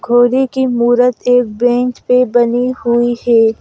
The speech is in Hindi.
घोड़े की मूरत एक बेंच पे बनी हुई है।